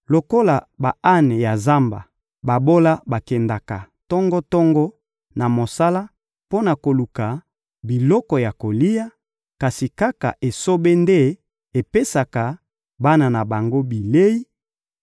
Lokola ba-ane ya zamba, babola bakendaka tongo-tongo na mosala mpo na koluka biloko ya kolia, kasi kaka esobe nde epesaka bana na bango bilei;